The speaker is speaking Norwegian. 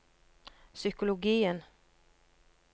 psykologien